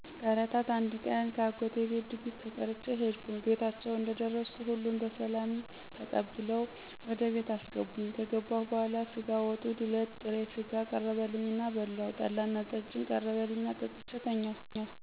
ከእለታት አንድ ቀን ከአጎቴ ቤት ድግስ ተጠርቼ ሄድኩ ቤታቸው እንደደረስኩ ሁሉም በሰላምታ ተቀብለው ወደ ቤት አስገቡኝ ከገበሁ በኋላ ስጋ ወጡ፣ ዱለት፣ ጥሬ ስጋ ቀረበልኝ እና በላሁ ጠላና ጠጅም ቀረበልኝና ጠጥቼ ተኛሁ።